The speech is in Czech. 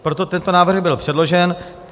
Proto tento návrh byl předložen.